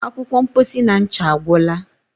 akwụkwọ mposi na ncha agwụla